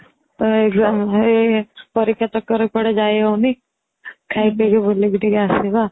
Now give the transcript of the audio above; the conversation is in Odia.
ତ ଏଇ ପରୀକ୍ଷା ଚକ୍କରେ କୁଆଡେ ଯାଇ ହଉନି ଖାଇ ପିକି ବୁଲିକି ଟିକେ ଆସିବା